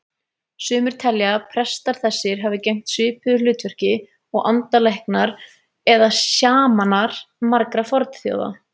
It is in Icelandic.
Sumir telja að prestar þessir hafi gegnt svipuðu hlutverki og andalæknar eða sjamanar margra fornþjóða.